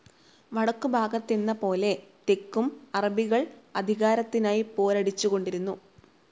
വടക്കുഭാഗത്തെന്ന പോലെ തെക്കും, അറബികൾ അധികാരത്തിനായി പോരടിച്ചുകൊണ്ടിരുന്നു.